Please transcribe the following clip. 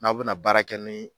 N'aw bɛna baara kɛ ni